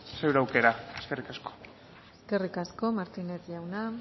zure aukera eskerrik asko eskerrik asko martínez jauna